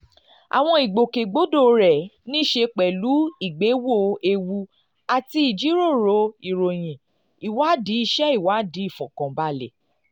àwọn ìgbòkègbodò rẹ̀ ní í ṣe pẹ̀lú ìgbéwò ewu àti ìjíròrò ìròyìn ìwádìí iṣẹ́ ìwádìí ìfọ̀kànbalẹ̀